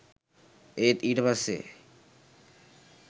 ඒත් ඊට පස්සේ